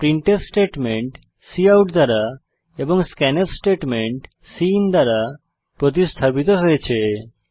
printf statement cout দ্বারা এবং scanf statement cin দ্বারা প্রতিস্থাপিত হয়েছে